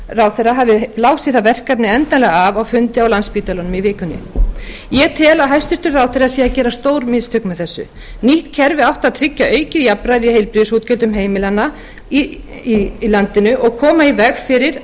heilbrigðisráðherra hafi blásið það verkefni endanlega af á fundi á landspítalanum í vikunni ég tel að hæstvirtur ráðherra sé að gera stór mistök með þessu nýtt kerfi átti að tryggja aukið jafnræði í heilbrigðisútgjöldum heimilanna í landinu og koma í veg fyrir